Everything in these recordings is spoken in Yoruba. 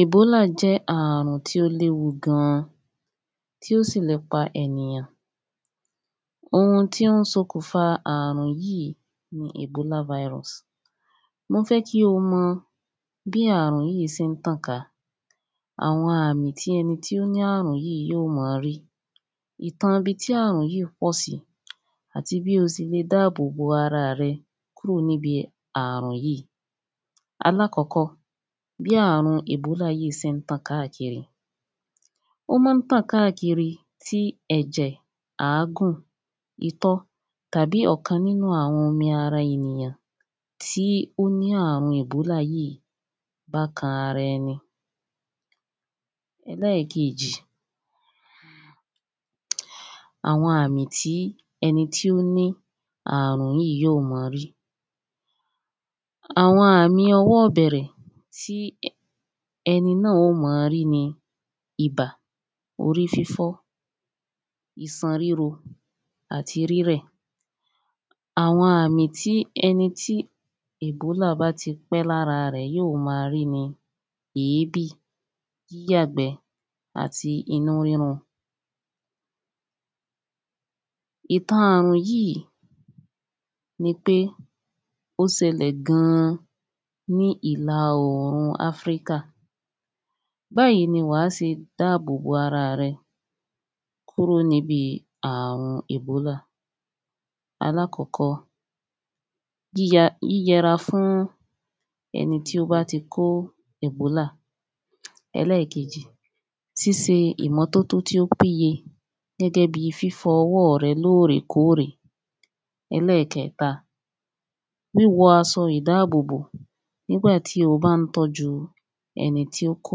Ebola jẹ́ ààrùn tí ó léwu gan tí ó sì le pa ènìyàn ohun tí ó ń sokùn fa ààrùn yìí ni ebola virus mo fẹ́ kí o mọ bí ààrùn yìí ṣe ń tàn ká àwọn àmì tí ẹni tó ó láàrùn yìí yóò máa rí ìtàn ibi tí ààrùn yìí pọ̀ sí àti bó o ṣelè dáàbò bo ara rẹ kúrò ní bi ààrùn yìí alákọkọ́ bí ààrùn ebola yìí ṣe ń tàn káàkiri ó máa ń tàn káàkiri tí ẹ̀jẹ̀ àágùn itọ́ tàbí ọ̀kan nínú àwọn omi ara ènìyàn tí ó ní ààrùn ebola yìí bá kan ara ẹni ẹlẹ́ẹ̀kejì àwọn àmì tí ẹni tó ní ààrùn yìí yóò máa rí àwọn àmì ọwọ́ ìbẹ̀rẹ̀ tí ẹni yóò máa rí ni, ibà orí fífọ́ isan ríro, àti rírẹ̀ àwọn àmì tí ẹni tí ebola bá ti pẹ́ lára rẹ̀ yóò máa rí ni èébì, yíyàgbẹ́ àti inú rírun ìtan ààrùn yìí ni pé ó ṣẹlẹ̀ gan ní ìlà oòrùn áfíríkà báyìí ni wàá ṣe dáàbò bo ara à rẹ kúrò níbi ààrùn ebola alákọkọ́ yíyẹra fún ẹni tó bá ti kó ebola ẹlẹ́ẹ̀kejì ṣíṣe ìmọ́tótó tó péye gẹ́gẹ́ bí fífọ ọwọ́ọ̀ rẹ lóòrèkóòrè ẹlẹ́ẹ̀kẹ́ta wí wọ aṣọ ìdáàbòbò nígbà tí o bá ń tọ́jú ẹni tí ó kó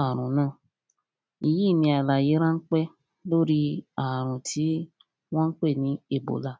ààrùn náà èyí ni àlàyé ránpẹ́ lórí ààrùn tí wọ́n pè ní ààrùn ebola